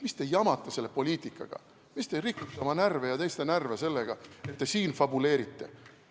Mis te jamate selle poliitikaga, mis te rikute oma ja teiste närve sellega, et te siin fabuleerite!